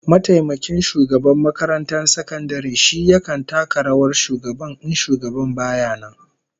Mataimakin shugaban makarantar sakandaren shi yakan taka rawar shugaban in shugaban baya nan